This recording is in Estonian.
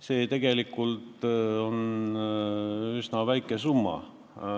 See tegelikult on üsna väike summa.